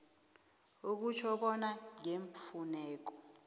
okutjho bona ngeemfuneko